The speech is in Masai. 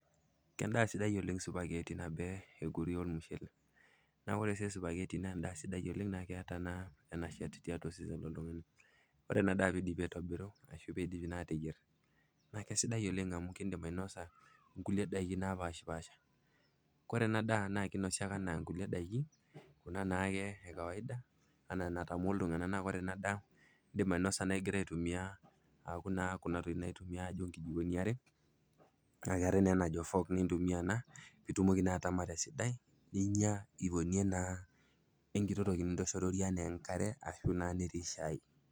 Kendaa sidai spaghettis nabo enkulie ormushele neeku ore siyie spaghettis naa endaa sidai oleng' naa keeta eneshet tiatua osesen loltung'ani, ore ena daa pee idipi aitobiru ore piidipi naa aitobirr naa kesidai oleng' amu kiindim ainosie kulie daiki napaashipaasha, kore ena daa naa kinosi ake enaa kulie daiki kuna naake ekawaida ena enatamoo iltung'anak naa kore ena daa iindim ainosa igira aitumia kuna tokitin naitumiai nijio nkijikoni ake naa keetai naa ina naji fork pee itumoki naa ataama tesidai ninya o enkiti toki nijio enkare ashu naa netii shaai.